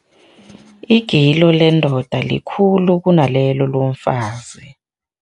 Igilo lendoda likhulu kunalelo lomfazi.